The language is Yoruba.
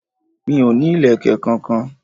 Mi ò ní ìlẹ̀kẹ̀ kankan.